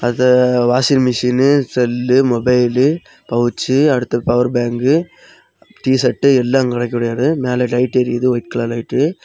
த washing machine cell mobile pouch அடுத்து power bank T shirt எல்லா கெடக்கு மேல லைட் எரியுது ஒயிட் கலர் லைட்டு .